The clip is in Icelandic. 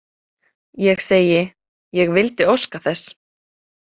Ég segi: Ég vildi óska þess.